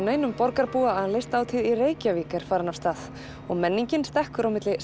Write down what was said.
neinum borgarbúa að Listahátíð í Reykjavík er farin af stað og menningin stekkur á milli